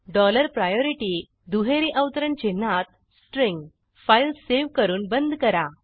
dollar priority दुहेरी अवतरण चिन्हातString फाईल सेव्ह करून बंद करा